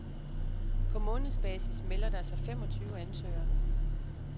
På månedsbasis melder der sig femogtyve ansøgere.